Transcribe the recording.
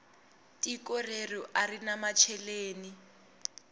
tiko reru arina macheleni